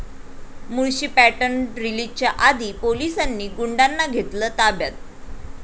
Mulshi pattern' रिलीजच्या आधी पोलिसांनी गुंडांना घेतलं ताब्यात